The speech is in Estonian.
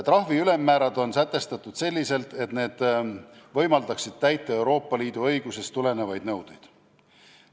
Trahvi ülemmäärad on sätestatud selliselt, et need võimaldaksid täita Euroopa Liidu õigusest tulenevaid nõudeid.